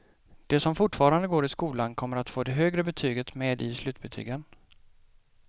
De som fortfarande går i skolan kommer att få det högre betyget med i slutbetygen.